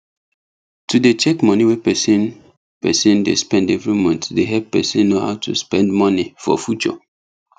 to dey check money wey person person dey spend every month dey help person know how to spend money for future